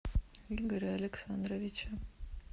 игоря александровича